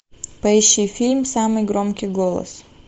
поищи фильм самый громкий голос